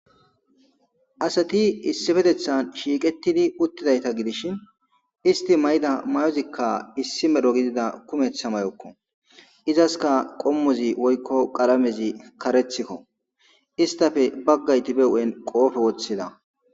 asati issifetethan shiiqettidi uttidayta gidishi isti may7ida may7ozikka issi medho gidida kumetha mayokko izaska qommozi woykko qalamezi karethikko istafe baggayti be u7en qoofe woththida